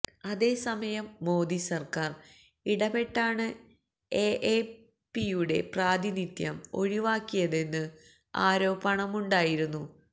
അതേസമയം മോദി സര്ക്കാര് ഇടപെട്ടാണ് എഎപിയുടെ പ്രാതിനിധ്യം ഒഴിവാക്കിയതെന്ന് ആരോപണമുണ്ടായിരുന്നു